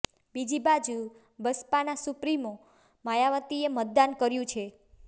બીજી બાજુ બસપાના સુપ્રીમો માયાવતીએ મતદાન કર્યું છે